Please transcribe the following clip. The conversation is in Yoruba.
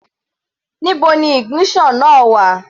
Níbo ni ignition náà wà?